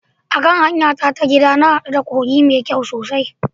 A kan hanyara ta gida, na ga wani kogi mai kyau sosai